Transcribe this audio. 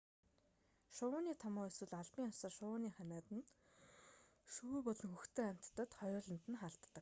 шувууны томуу эсвэл албан ёсоор шувууны ханиад нь шувуу болон хөхтөн амьтдад хоёуланд нь халддаг